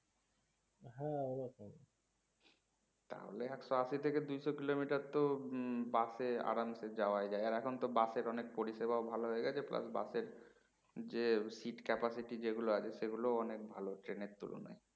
তাহলে একশো আশি থেকে দুইশ kilometerতো হম bus এ আরাম সে যাওয়ায় যায় আর এখন তো bus এর অনেক পরিষেবা ভালো হয়ে গেছে plus bus এর যে sit capacity যে গুলো আছে সেগুলোও অনেক ভালো train এর তুলনায়